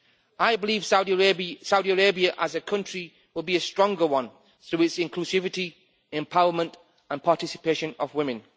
I believe Saudi Arabia as a country will be a stronger one through its inclusivity, empowerment and participation of women.